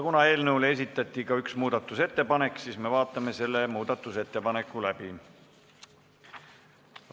Kuna eelnõu kohta esitati ka üks muudatusettepanek, siis me vaatame selle muudatusettepaneku läbi.